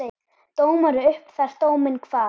Dómari upp þar dóminn kvað.